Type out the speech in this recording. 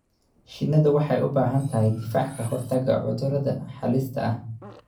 Shinnidu waxay u baahan tahay difaac ka hortagga cudurrada halista ah.